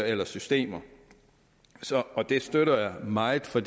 eller systemer og det støtter jeg meget for